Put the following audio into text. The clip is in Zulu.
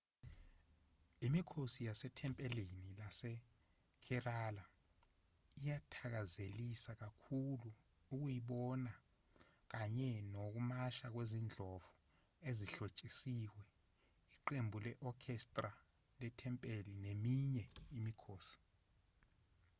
imikhosi yasethempelini lasekerala iyathakazelisa kakhulu ukuyibona kanye nokumasha kwezindlovu ezihlotshisiwe iqembu le-orchestra lethempeli neminye imikhosi